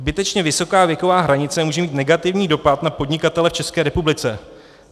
Zbytečně vysoká věková hranice může mít negativní dopad na podnikatele v České republice.